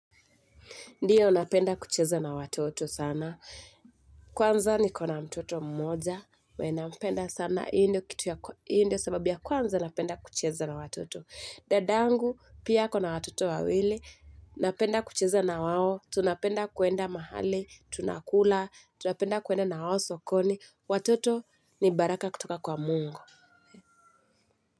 Ndiyo, napenda kucheza na watoto sana. Kwanza nikona mtoto mmoja, we napenda sana hii ndio kitu ya hii ndio sababu ya kwanza napenda kucheza na watoto. Dadangu, pia akona watoto wawili, napenda kucheza na wao, tunapenda kuenda mahali, tunakula, tunapenda kuenda na wao sokoni, watoto ni baraka kutoka kwa mungu.